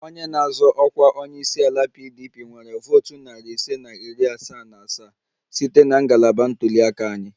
Onye na-azọ ọkwa onye isi ala PDP nwere votu narị ise na iri asaa na asaa site na ngalaba ntuli aka anyị